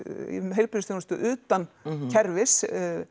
heilbrigðisþjónustu utan kerfis